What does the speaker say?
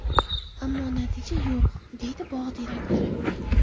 Ammo natija yo‘q”, deydi bog‘ direktori.